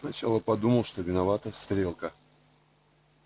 сначала подумал что виновата стрелка